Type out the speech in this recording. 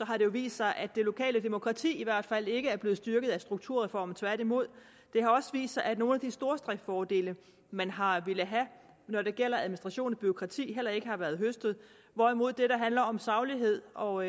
har vist sig at det lokale demokrati i hvert fald ikke er blevet styrket af strukturreformen tværtimod det har også vist sig at nogle af de stordriftsfordele man har villet have når det gælder administration og bureaukrati heller ikke har været høstet hvorimod det der handler om saglighed og